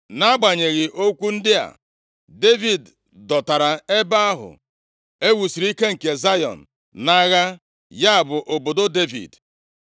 nʼagbanyeghị okwu ndị a, Devid dọtara ebe ahụ e wusiri ike nke Zayọn nʼagha, ya bụ obodo Devid.